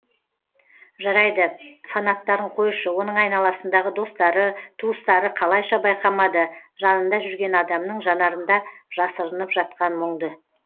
жарайды фанаттарын қойшы оның айналасындағы достары туыстары қалайша байқамады жанында жүрген адамның жанарында жасырынып жатқан мұңды